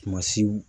Kumasiw